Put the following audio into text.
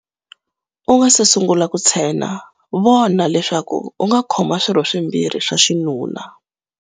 U nga si sungula ku tshena, vona leswaku u nga khoma swirho swimbirhi swa xinuna.